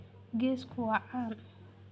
Geesku waa caan.